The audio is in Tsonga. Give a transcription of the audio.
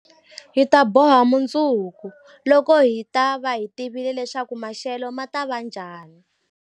Hi ta boha mundzuku, loko hi ta va hi tivile leswaku maxelo ma ta va njhani.